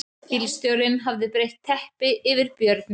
Bílstjórinn hafði breitt teppi yfir björninn